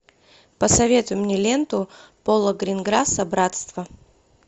посоветуй мне ленту пола гринграсса братство